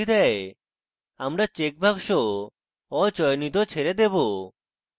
আমরা check box অচয়নিত ছেড়ে দেবো